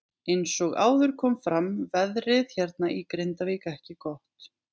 Eins og áður kom fram veðrið hérna í Grindavík ekki gott.